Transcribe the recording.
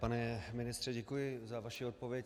Pane ministře, děkuji za vaši odpověď.